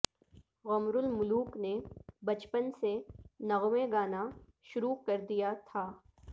غمر الملوک نے بچپن سے نغمے گانا شروع کر دیا تھا